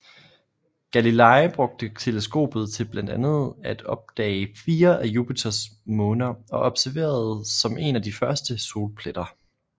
Galilei brugte teleskopet til blandt andet at opdage fire af Jupiters måner og observerede som en af de første solpletter